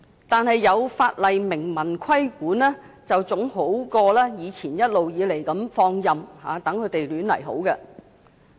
但是，有法例明文規管，總比以前一直任由這些龕場自把自為好。